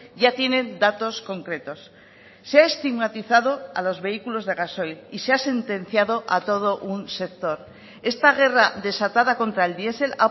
ya tienen datos concretos se ha estigmatizado a los vehículos de gasoil y se ha sentenciado a todo un sector esta guerra desatada contra el diesel